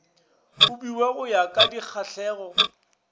abiwa go ya ka dikgahlego